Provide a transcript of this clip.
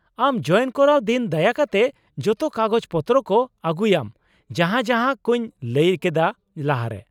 ᱟᱢ ᱡᱚᱭᱮᱱ ᱠᱚᱨᱟᱣ ᱫᱤᱱ ᱫᱟᱭᱟ ᱠᱟᱛᱮ ᱡᱚᱛᱚ ᱠᱟᱜᱚᱡᱽ ᱯᱚᱛᱨᱚ ᱠᱚ ᱟᱜᱩᱭᱟᱢ ᱡᱟᱦᱟᱸ ᱡᱟᱦᱟᱸ ᱠᱚᱸᱧ ᱞᱟᱹᱭ ᱠᱮᱫᱟ ᱞᱟᱦᱟᱨᱮ ᱾